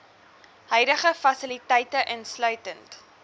huidige fasiliteite insluitend